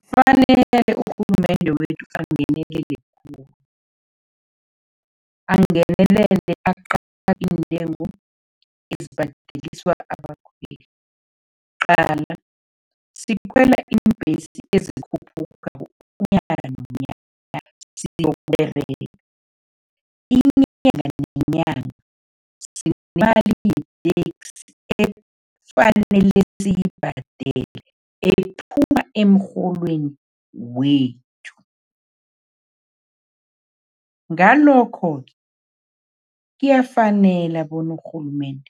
Kufanele urhulumende wethu angenelele khulu, angenelele aqale iintengo ezibhadeliswa abakhweli. Qala, sikhwela iimbhesi ezikhuphukako unyaka nonyaka siyokUberega, inyanga nenyanga efanele siyibhadele ephuma emrholweni wethu. Ngalokho-ke, kuyafanela bona urhulumende